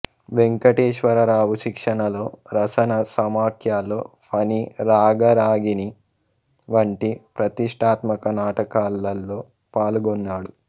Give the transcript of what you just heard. వేంకటేశ్వరరావు శిక్షణలో ర స న సమాఖ్యలో ఫణి రాగరాగిణి వంటి ప్రతిష్ఠాత్మక నాటకాలలో పాల్గొన్నాడు